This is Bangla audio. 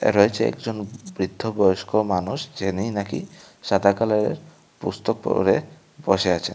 রয়েছে একজন বৃদ্ধ বয়স্ক মানুষ যিনি নাকি সাদা কালারের পুস্তক পড়ে বসে আছেন।